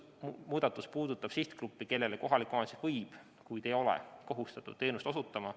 Muudatus puudutab sihtgruppi, kellele kohalik omavalitsus võib, kuid ei ole kohustatud teenust osutama.